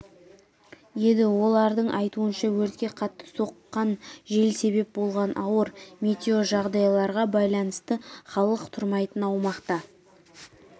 еді олардың айтуынша өртке қатты соққан жел себеп болған ауыр метеожағдайларға байланысты халық тұрмайтын аумақта